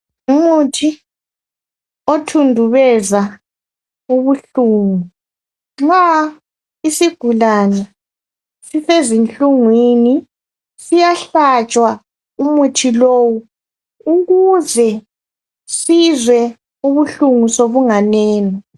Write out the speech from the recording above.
Umuthi othundubeza ubuhlungu, nxa isigulane sisezinhlungwini. Siyahlatshwa umuthi lowu. Ukuze sizwe ubuhlungu, sobunganeno.